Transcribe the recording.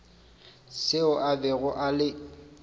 seo a bego a le